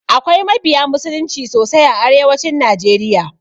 Akwai mabiya musulunci sosai a arewacin najeriya.